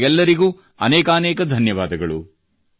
ನಿಮಗೆಲ್ಲರಿಗೂ ಅನೇಕಾನೇಕ ಧನ್ಯವಾದಗಳು